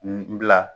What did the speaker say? N bila